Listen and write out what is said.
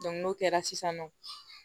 n'o kɛra sisan nɔ